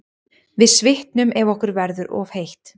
Við svitnum ef okkur verður of heitt.